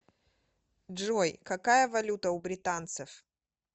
джой какая валюта у британцев